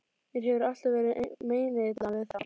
Mér hefur alltaf verið meinilla við þá.